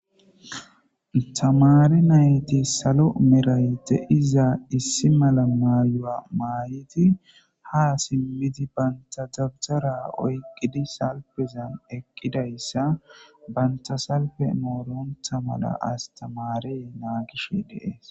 tamare nayti salo merayte izaa issi mala maayo7a maayiti ha simmiti banta dabzara oyqqidi salpezan eqqidayssa banta salfe mooronta mala astamarey naagishe deees